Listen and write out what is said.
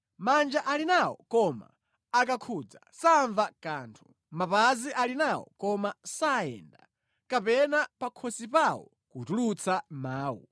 manja ali nawo koma akakhudza samva kanthu; mapazi ali nawo koma sayenda; kapena pakhosi pawo kutulutsa mawu.